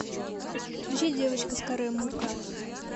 включи девочка с каре мукка